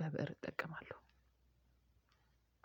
በብእር እጠቀማለሁ።